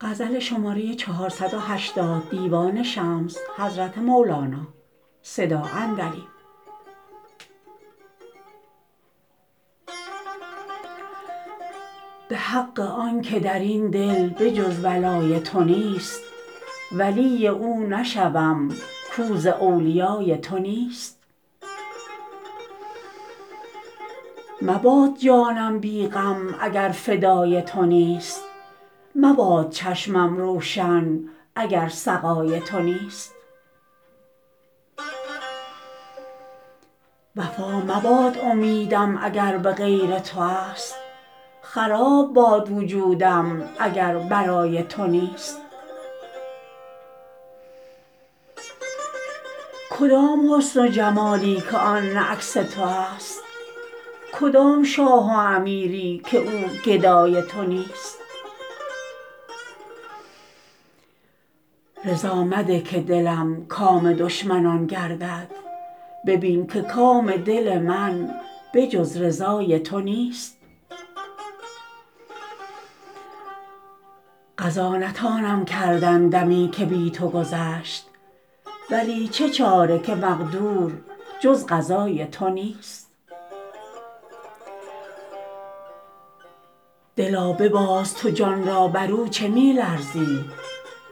به حق آن که در این دل به جز ولای تو نیست ولی او نشوم کو ز اولیای تو نیست مباد جانم بی غم اگر فدای تو نیست مباد چشمم روشن اگر سقای تو نیست وفا مباد امیدم اگر به غیر تو است خراب باد وجودم اگر برای تو نیست کدام حسن و جمالی که آن نه عکس تو است کدام شاه و امیری که او گدای تو نیست رضا مده که دلم کام دشمنان گردد ببین که کام دل من به جز رضای تو نیست قضا نتانم کردن دمی که بی تو گذشت ولی چه چاره که مقدور جز قضای تو نیست دلا بباز تو جان را بر او چه می لرزی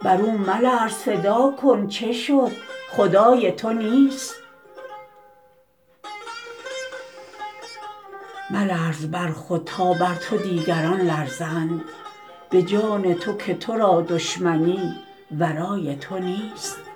بر او ملرز فدا کن چه شد خدای تو نیست ملرز بر خود تا بر تو دیگران لرزند به جان تو که تو را دشمنی ورای تو نیست